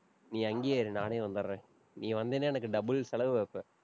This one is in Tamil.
நீ அங்கேயே இரு நானே வந்திடறேன். நீ வந்தீன்னா எனக்கு double செலவு வைப்ப